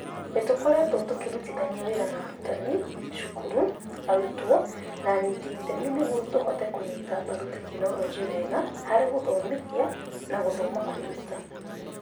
Nĩ tũkoretwo tũkĩrutithania wĩra na arutani, cukuru, arutwo, na anyiyi itemi nĩguo tũhote kũnyita mbaru tekinoronjĩ wega harĩ gũthomithia na gũthoma kwĩruta.